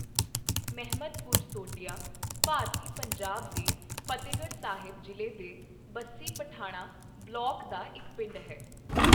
ਮਹਿਮਦਪੁਰ ਸੋਢੀਆਂ ਭਾਰਤੀ ਪੰਜਾਬ ਦੇ ਫ਼ਤਹਿਗੜ੍ਹ ਸਾਹਿਬ ਜ਼ਿਲ੍ਹੇ ਦੇ ਬੱਸੀ ਪਠਾਣਾਂ ਬਲਾਕ ਦਾ ਇੱਕ ਪਿੰਡ ਹੈ।